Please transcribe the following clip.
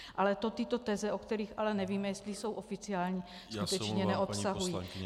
Ale to tyto teze, o kterých ale nevíme, jestli jsou oficiální, skutečně neobsahují.